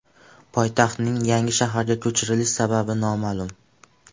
Poytaxtning yangi shaharga ko‘chirilish sababi noma’lum.